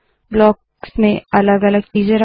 blocks में अलग अलग चीज़े रखे